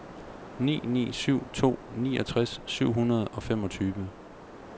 ni ni syv to niogtres syv hundrede og femogtyve